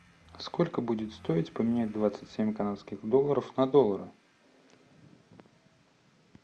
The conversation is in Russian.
сколько будет стоить поменять двадцать семь канадских долларов на доллары